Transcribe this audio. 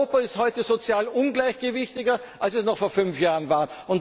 Europa ist heute sozial ungleichgewichtiger, als es noch vor fünf Jahren war.